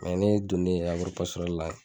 ne donne la.